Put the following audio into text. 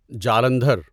Jalandhar